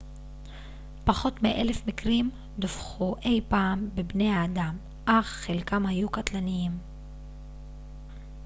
פחות מאלף מקרים דווחו אי פעם בבני אדם אך חלקם היו קטלניים